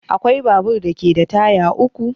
Akwai babur da ke da taya uku